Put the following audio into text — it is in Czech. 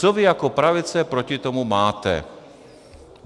Co vy jako pravice proti tomu máte?